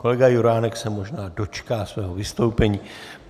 Kolega Juránek se možná dočká svého vystoupení.